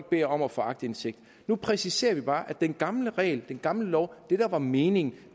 bedt om at få aktindsigt nu præciserer vi bare at den gamle regel den gamle lov det der var meningen